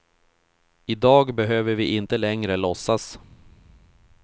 I dag behöver vi inte längre låtsas.